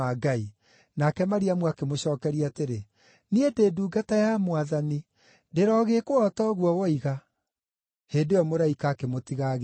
Nake Mariamu akĩmũcookeria atĩrĩ, “Niĩ ndĩ ndungata ya Mwathani. Ndĩrogĩĩkwo o ta ũguo woiga.” Hĩndĩ ĩyo mũraika akĩmũtiga agĩthiĩ.